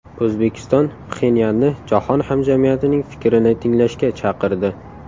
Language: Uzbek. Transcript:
O‘zbekiston Pxenyanni jahon hamjamiyatining fikrini tinglashga chaqirdi.